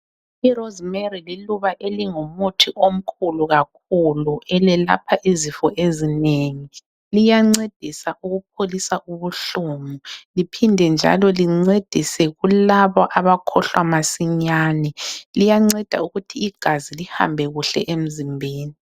Irozimeri liluba elingumuthi omkhulu kakhulu elelapha izifo ezinengi. Liyancedisa ukupholisa ubuhlungu, liphinde njalo lincedise kulabo abakhohlwa masinyane. Liyanceda ukuthi igazi lihambe kuhle emzimbeni.